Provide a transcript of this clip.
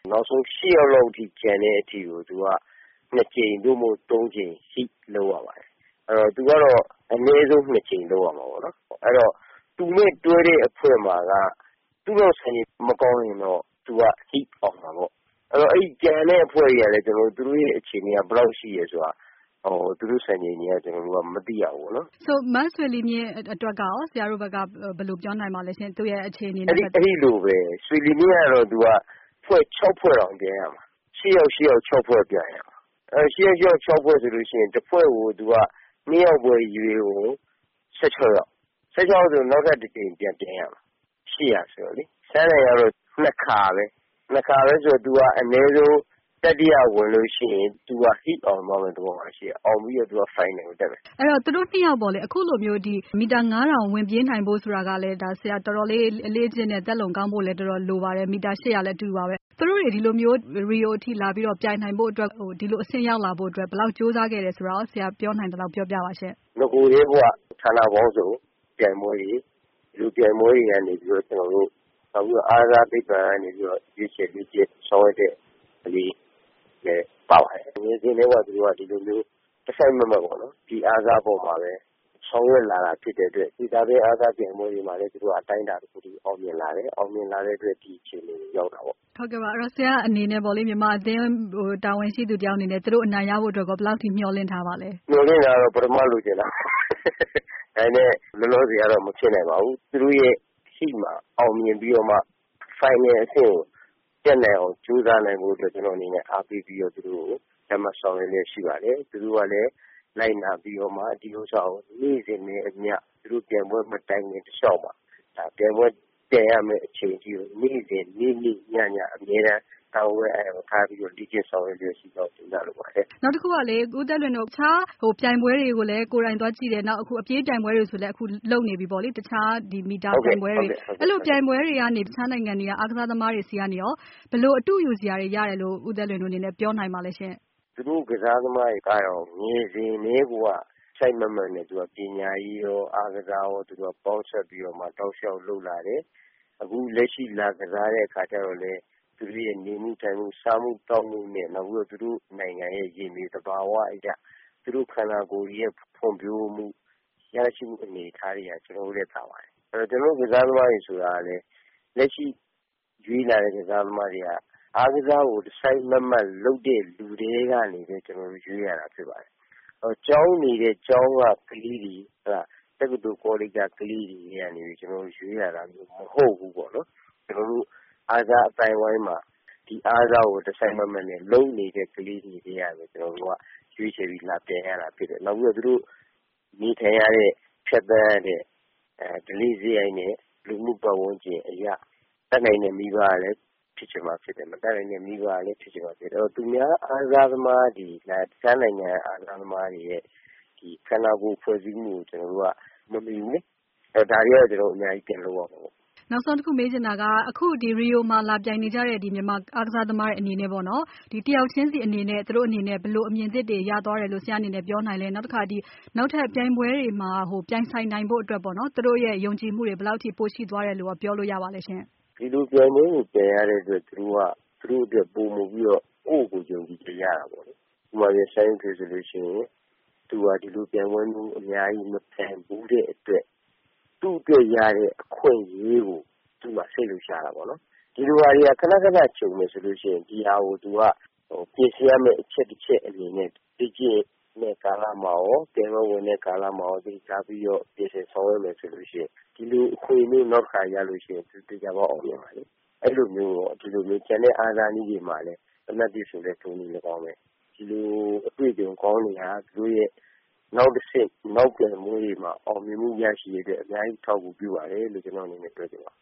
နောက်ဆုံး ယောက်လောက်ကျန်တဲ့အထိ နှစ်ကြိမ် သို့မဟုတ် သုံးကြိမ်ထိ လုပ်ရပါတယ်။ သူကတော့ အနည်းဆုံး နှစ်ကြိမ်လုပ်ရမှာပေါ့နော်။ အဲတော့ သူနဲ့တွဲတဲ့အဖွဲ့မှာက သူ့လောက်စံချိန်မကောင်းရင်တော့ သူက Heat အောင်မှာပေါ့။ ကျန်တဲ့အဖွဲ့တွေကလည်း သူတို့ရဲ့စံချိန် ဘယ်လောက်ရှိတယ်ဆိုတာ ကျနော်တို့ မသိရဘူးပေါ့နော်။ မေး။ ။ မဆွေလီမြင့်ဘက်ကရော ဆရာတို့ဘယ်လိုပြောနိုင်မလဲ။ ဖြေ။ ။ အဲဒီလိုပဲ ဆွေလီမြင့်ကတော့ သူက အဖွဲ့ ဖွဲ့တောင်ပြိုင်ရမှာ။ ယောက်စီရှိတဲ့ ဖွဲ့ပြိုင်ရမှာ။ အဲတော့ တဖွဲ့ကို နှစ်ယောက်ပဲ ရွေးအုံး ယောက်ရှိမယ်။ အဲဒီထဲက နောက်ထပ် တကြိမ်ပြန်ပြိုင်ရအုံးမယ်၊ ယောက်စီဆိုတော့လေ။ ဆန်းနိုင်ကမှ နှစ်ခါပဲ။ အဲတော့ သူက အနည်းဆုံးသူက တတိယရလို့ရှိရင် Heat အောင်သွားမယ့် သဘောမှာရှိတယ်။ အဲတော့ သူက ဖိုင်လ်နယ်ကိုတက်မယ်။ မေး။ ။ သူတို့နှစ်ယောက်အခုလိုမျိုး မီတာ ဝင်ပြေးနိုင်ဖို့ဆိုရင် တော်တော်လေးအလေ့အကျင့်နဲ့ သက်လုံကောင်းဖို့လည်း လိုပါတယ်။ မီတာ လည်းအတူတူပါပဲ။ သူတို့တွေ ဒီလို Rio ထိလာပြီးတော့ ပြိုင်နိုင်ဖို့အတွက် ဒီလိုအဆင့်ရောက်လာဖို့အတွက် ဘယ်လောက်ကြိုးစားခဲ့လဲဆိုတာ ဆရာပြောနိုင်သလောက် ပြောပြပါရှင့်။ ဖြေ။ ။ နဂိုကတည်းကိုက ဌာနပေါင်းစုံပြိုင်ပွဲတွေကနေပြီးတော့ နောက် အားကစားသိပ္ပံကနေ ရွေးချယ်လေ့ကျင့်ဆောင်ရွက်တဲ့အနေအထားလည်းပါပါတယ်။ ငယ်စဉ်ကတည်းက ဒီလိုမျိုး တစိုက်မတ်မတ်နဲ့ ဒီအားကစားအပေါ်မှာပဲ ဆောင်ရွက်လာတာဖြစ်တဲ့အတွက် ပြီးတော့ တာဝေးအားကစားပြိုင်ပွဲတွေမှာလည်း သူတို့က အတိုင်းအတာတခုထိအောင်မြင်လာတယ်။ ဒါကြောင့်လဲ ဒီအခြေအနေကိုရောက်တာပေါ့။ မေး။ ။ ဆရာ့အနေနဲ့ မြန်မာအသင်းကိုတာဝန်ရှိတဲ့သူတဦးအနေနဲ့ သူတို့အနိုင်ရဖို့အတွက် ဘယ်လောက်အထိမျှော်လင့်ထားပါလဲ။ ဖြေ။ ။ မျှော်လင့်တာကတော့ ပထမ လိုချင်တာပေါ့။ ဒါပေမဲ့ လောလောဆယ်ကတော့ မဖြစ်နိုင်ပါဘူး။ သူတို့ရဲ့ရှေ့မှာ အောင်မြင်ပြီးတော့မှ ဖိုင်နယ်လ်အဆင့်ကို တက်နိုင်အောင်ကြိုးစားနိုင်ဖို့အတွက် ကျနော်အနေနဲ့ အားပေးပြီးတော့ သူတို့ကိုကြပ်မတ်ဆောင်ရွက်လျက်ရှိပါတယ်။ သူတို့ကလည်း လိုက်နာပြီးတော့မှ နေ့စဉ်နဲ့အမျှ သူတို့ပြိုင်ပွဲမဝင်ခင် တလျှောက် ပြိုင်ပွဲပြိုင်ရမယ့် အချိန်ထိနေ့စဉ် နေ့နေ့ညည အမြဲတမ်းလေ့ကျင့်နေကြပါတယ်။ မေး။ ။ ဦးသက်လွင်တို့ကိုယ်တိုင် အခြားပြိုင်ပွဲတွေကို ကိုယ်တိုင်လည်းသွားကြည့်တယ်၊ အခုအပြေးပြိုင်ပွဲတွေလဲ လုပ်နေပြီ။ အဲလိုပြိုင်ပွဲတွေကနေ အခြားနိုင်ငံတွေက အားကစားသမားဆီကနေရော ဘယ်လိုအတုယူစရာတွေရတယ်လို့ ဦးသက်လွင်တို့အနေနဲ့ ပြောနိုင်ပါလဲ။ ဖြေ။ ။ သူတို့အားကစားသမားတွေက ငယ်စဉ်ကတည်းကိုက တစိုက်မတ်မတ်နဲ့ ပညာရေးရော၊ အားကစားရော ပေါင်းစပ်ပြီးတော့မှ တောက်လျောက်လုပ်လာတယ်။ အခုလက်ရှိ လာကစားတဲ့အခါကျတော့်လည်း သူတို့ရဲ့ နေမှုထိုင်မှု၊စားသောက်ရေး၊ နောက်သူတို့နိုင်ငံရဲ့ ရေမြေသဘာဝအရ သူတို့ခနာကိုယ်တွေရဲ့ ဖွံဖြိုးမှုအနေအထားတွေဟာ ကျနော်တို့ထက်သာပါတယ်။ ကျနော်တို့ ကစားသမားတွေဆိုတာကလည်း လက်ရှိရွေးလာတဲ့ ကစားသမားတွေက အားကစားကို တစိုက်မတ်မတ် လုပ်တဲ့လူထဲကနေ ကျနော်တို့ရွေးရတာဖြစ်ပါတယ်။ ကျောင်းနေတဲ့ ကျောင်းက ကလေးတွေ၊ တက္ကသိုလ်ကောလိပ်က ကလေးတွေထဲကနေ ရွေးနိုင်တာမျိုးမဟုတ်ဘူး။ ကျနော်တို့ အားကစားအသိုင်းအဝိုင်းမှာ ဒီအားကစားကို တစိုက်မတ်မတ်နဲ့ လုပ်နေတဲ့ ကလေးတွေထဲကနေပဲ ကျနော်တို့ ရွေးချယ်ပြီး လာပြိုင်ရတာဖြစ်တယ်။ နောက်ပြီးသူတို့နေထိုင်ရတဲ့ ဖြတ်သန်းရတဲ့ ဓလေ့စရိုက်နဲ့ လူမှုပတ်ဝန်းကျင်အရ တတ်နိုင်တဲ့မိဘကလည်း ဖြစ်ချင်မှဖြစ်မယ်။ မတတ်နိုင်တဲ့ မိဘကလည်း ဖြစ်ချင်လည်းဖြစ်မယ်။ အဲတော့ အခြားနိုင်ငံက အားကစားသမားတွေနဲ့ ခနာကိုယ်ဖွဲ့စည်းမှုကို ကျနော်တို့က မမှီဘူးပေါ့။ ဒါတွေကတော့ ကျနော်တို့အများကြီး ပြန်လုပ်ရမှာပေါ့။ မေး။ ။ နောက်ဆုံးတခုမေးချင်တာက အခု Rio မှာလာပြိုင်နေကြတဲ့ မြန်မာအားကစားသမားတွေ အနေနဲ့ တယောက်ချင်းစီအနေနဲ့ ဘယ်လိုအမြင်သစ်တွေရသွားတယ်လို့ ဆရာ့အနေနဲ့ပြောနိုင်လဲ။ နောက်ထပ်ပြိုင်ပွဲတွေမှာ ပြိုင်ဆိုင်နိုင်ဖို့အတွက် သူတို့ရဲ့ယုံကြည်မှုတွေဘယ်လောက်ရှိသွားလဲဆိုတာ ပြောနိုင်မလဲရှင့်။ ဖြေ။ ။ Rio ပြိုင်ပွဲကို ပြိုင်ရတဲ့အတွက် သူတို့အတွက် ကိုယ့်ကိုကိုယ် ပိုပြီးယုံကြည်မှုရတာပေါ့။ ဥပမာ ဆန်းယုထွေး ဆိုလို့ရှိရင် ဒီလိုပြိုင်ပွဲမျိုး အများကြီးမပြိုင်ဘူးတဲ့အတွက် သူ့အတွက်ရတဲ့အခွင့်အရေးကို သူ့မှာ စိတ်လှုပ်ရှားတာပေါ့နော်။ ဒီလိုပြိုင်ပွဲတွေ ခဏခဏကြုံမယ်ဆိုလို့ရှိရင် ဒါကိုသူက ပြင်ဆင်ရမယ့်အချက်တချက်အနေနဲ့ လေ့ကျင့်တဲ့ကာလမှာရော၊ ပြိုင်ပွဲဝင်တဲ့ကာလမှာရော သတိထားပြီးတော့ ပြင်ဆင်ဆောင်ရွက်မယ်ဆိုရင် ဒီလိုအခွင့်အရေးမျိုး နောက်တခါရလို့ရှိရင် သေချာပေါက် အောင်မြင်မှာလေ။ အဲဒီလိုပဲ ကျန်တဲ့အားကစားနည်းတွေ သေနတ်ပစ်ဆိုရင်လည်း ထိုနည်း လည်းကောင်းပဲ၊ ဒီလိုအတွေ့အကြုံကောင်းတွေဟာ သူတို့ရဲ့နောက်တဆင့် နောက်ပြိုင်ပွဲတွေမှာ အောင်မြင်မှုရရှိရေးအတွက် အများကြီးအထောက်အကူပြုပါတယ်လို့ ကျနော်အနေနဲ့ ပြောချင်ပါ